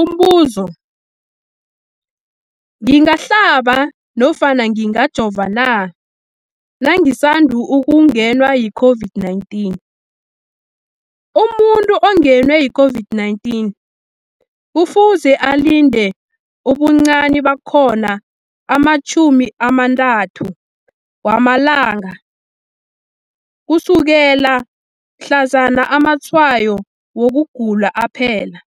Umbuzo, ngingahlaba nofana ngingajova na nangisandu kungenwa yi-COVID-19? Umuntu ongenwe yi-COVID-19 kufuze alinde ubuncani bakhona ama-30 wama langa ukusukela mhlazana amatshayo wokugula aphela.